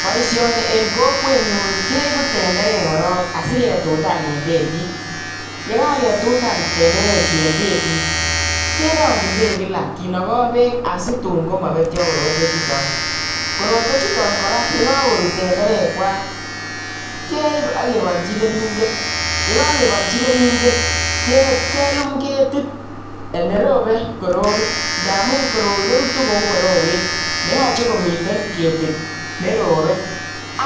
boisioni eng kokwenyu keibu tenderek korok asi ketutan eng bek, ye kaketutan kerongjin bek kila asimayamya asiobetyo. korotwek chuton korak yekakorut keib akebolji keringet. e kakebolji keringet ke lum ketit amu rotu kou borowet